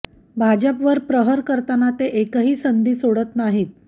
भाजपवर प्रहार करताना ते एकही संधी सोडत नाहीत